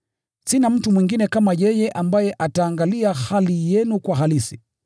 Sina mtu mwingine kama yeye, ambaye ataangalia hali yenu kwa halisi.